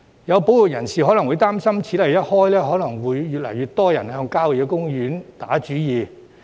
有保育人士會擔心，此例一開，可能會有越來越多人向郊野公園打主意。